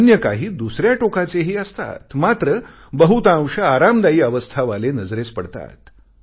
अन्य काही दुसऱ्या टोकाचेही असतात मात्र बहुतांश आरामदायी अवस्था वाले नजरेस पडतात